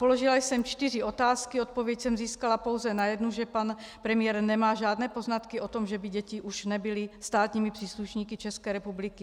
Položila jsem čtyři otázky, odpověď jsem získala pouze na jednu - že pan premiér nemá žádné poznatky o tom, že by děti už nebyly státními příslušníky České republiky.